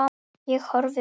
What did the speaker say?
Ég horfi út.